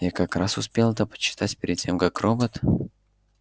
я как раз успел это почитать перед тем как робот